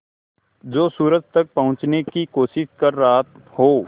जो सूरज तक पहुँचने की कोशिश कर रहा हो